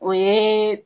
O ye